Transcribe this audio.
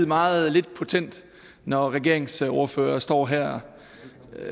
meget lidt potent når regeringsordførere står her